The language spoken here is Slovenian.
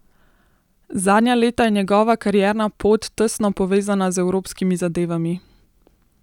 Zadnja leta je njegova karierna pot tesno povezana z evropskimi zadevami.